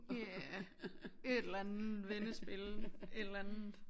Ja et eller andet vendespil et eller andet